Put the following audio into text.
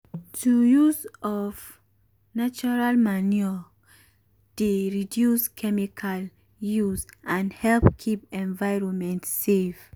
to use of natural manure dey reduce chemical use and help keep environment safe.